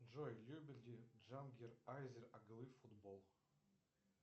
джой любит ли джангир азер оглы футбол